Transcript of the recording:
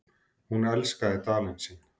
Hún elskaði Dalinn sinn.